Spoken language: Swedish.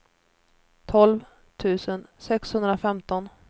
tolv tusen sexhundrafemton